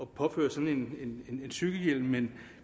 påføre sig en cykelhjelm